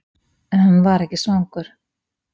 En hann var ekki svangur.